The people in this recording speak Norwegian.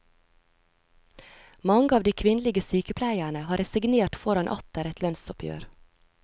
Mange av de kvinnelige sykepleierne har resignert foran atter et lønnsoppgjør.